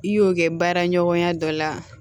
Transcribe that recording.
I y'o kɛ baara ɲɔgɔnya dɔ la